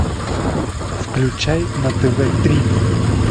включай на тв три